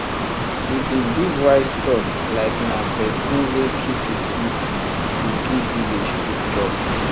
we bin give wise talk likena person wey keep e seed go give village food chop